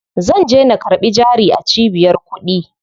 Zanje na karɓi jari a cibiyar kuɗi.